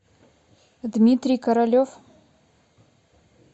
дмитрий королев